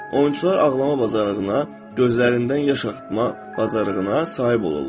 Oyunçular ağlama bacarığına, gözlərindən yaş axıtma bacarığına sahib olurlar.